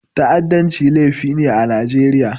Ta'addanci laifi ne a Najeriya.